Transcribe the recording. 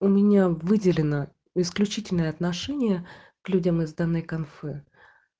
у меня выделено исключительное отношение к людям из данной конфы